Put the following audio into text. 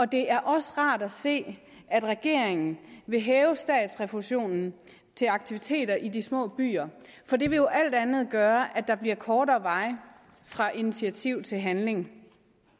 det er også rart at se at regeringen vil hæve statsrefusionen til aktiviteter i de små byer for det vil alt andet lige gøre at der bliver kortere vej fra initiativ til handling